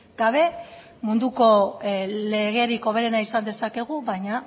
gabe munduko legerik hoberena izan dezakegu baina